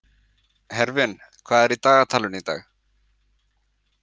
Hervin, hvað er í dagatalinu í dag?